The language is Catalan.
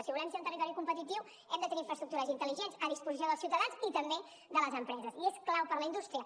si volem ser un territori competitiu hem de tenir infraestructures intel·ligents a disposició dels ciutadans i també de les empreses i és clau per la indústria